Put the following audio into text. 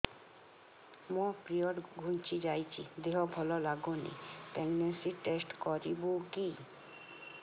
ମୋ ପିରିଅଡ଼ ଘୁଞ୍ଚି ଯାଇଛି ଦେହ ଭଲ ଲାଗୁନି ପ୍ରେଗ୍ନନ୍ସି ଟେଷ୍ଟ କରିବୁ କି